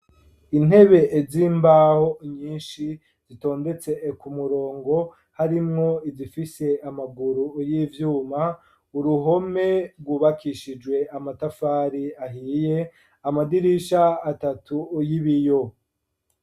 Intebe z'imbaho nyinshi zitondetse ku murongo harimwo izifise amaguru y'ivyuma uruhome rwubakishijwe amatafari ahiye amadirisha atatu yibiyo.